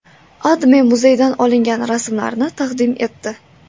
AdMe muzeydan olingan rasmlarni taqdim etdi.